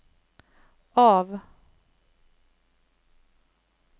av